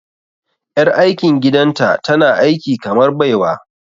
Ƴar aikin gidanta tana aiki kamar baiwa.